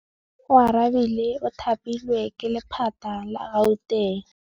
Oarabile o thapilwe ke lephata la Gauteng.